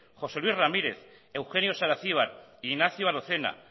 josé luis ramírez eugenio saracibar ignacio arozena